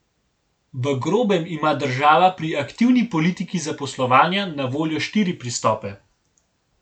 V grobem ima država pri aktivni politiki zaposlovanja na voljo štiri pristope.